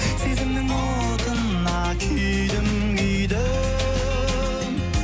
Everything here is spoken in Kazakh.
сезімнің отына күйдім күйдім